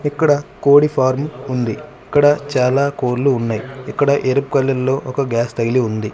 ఇక్కడ కోడి ఫారం ఉంది ఇక్కడ చాలా కోళ్లు ఉన్నాయి ఇక్కడ ఎరుపు కలర్ లో ఒక గ్యాస్ తగిలి ఉంది.